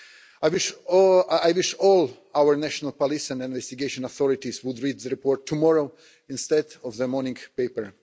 I wish all our national police and investigation authorities would read the report tomorrow, instead of the morning paper.